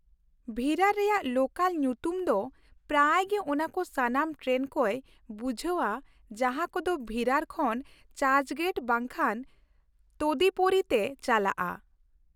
ᱵᱷᱤᱨᱟᱨ ᱨᱮᱭᱟᱜ ᱞᱳᱠᱟᱞ ᱧᱩᱛᱩᱢ ᱫᱚ ᱯᱨᱟᱭ ᱜᱮ ᱚᱱᱟ ᱠᱚ ᱥᱟᱱᱟᱢ ᱴᱨᱮᱱ ᱠᱚᱭ ᱵᱩᱡᱷᱟᱹᱣᱟ ᱡᱟᱦᱟᱸ ᱠᱚᱫᱚ ᱵᱷᱤᱨᱟᱨ ᱠᱷᱚᱱ ᱪᱟᱨᱪᱜᱮᱴ ᱵᱟᱝᱠᱷᱟᱱ ᱛᱚᱫᱤᱯᱚᱨᱤ ᱛᱮ ᱪᱟᱞᱟᱜᱼᱟ ᱾